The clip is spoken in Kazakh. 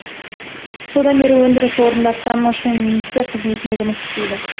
содан бері өндіріс орнында кран машинисі қызметінде жұмыс істейді